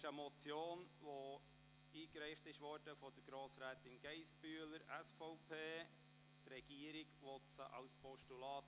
Es handelt sich um eine Motion, die von Grossrätin Geissbühler, SVP, eingereicht worden ist.